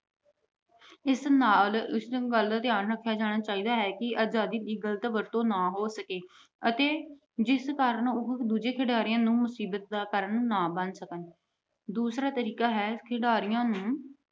ਇਸ ਨਾਲ ਇਸ ਵੱਲ ਧਿਆਨ ਰੱਖਿਆ ਜਾਣਾ ਚਾਹੀਦਾ ਹੈ ਕਿ ਆਜਾਦੀ ਦੀ ਗਲਤ ਵਰਤੋਂ ਨਾ ਹੋ ਸਕੇ ਅਤੇ ਜਿਸ ਕਾਰਨ ਉਹ ਦੂਜੇ ਖਿਡਾਰੀਆਂ ਨੂੰ ਮੁਸੀਬਤ ਦਾ ਕਾਰਨ ਨਾ ਬਣ ਸਕਣ। ਦੂਸਰਾ ਤਰੀਕਾ ਹੈ ਖਿਡਾਰੀਆਂ ਨੂੰ